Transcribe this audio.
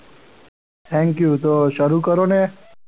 thank you તો શરૂ કરો ને.